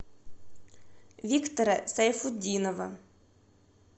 виктора сайфутдинова